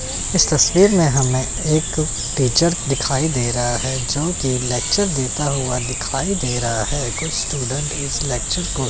इस तस्वीर में हमें एक टीचर दिखाई दे रहा है जो की लेक्चर देता हुआ दिखाई दे रहा है कुछ स्टूडेंट इस लेक्चर को--